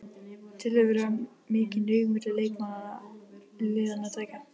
Telurðu vera mikinn ríg milli leikmanna liðanna tveggja?